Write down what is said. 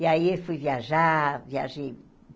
E aí fui viajar, viajei.